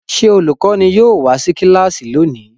Ṣé olùkọ́ní yóò wá sí kíláàsì lónìí?